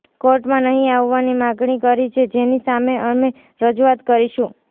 કોર્ટમાં નહીં આવવાની માગણી કરી છે જેની સામે અમે રજૂઆત કરીશું